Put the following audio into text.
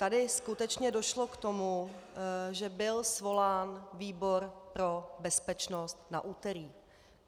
Tady skutečně došlo k tomu, že byl svolán výbor pro bezpečnost na úterý.